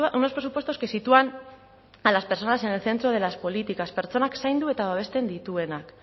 unos presupuestos que sitúan a las personas en el centro de las políticas pertsonak zaindu eta babesten dituenak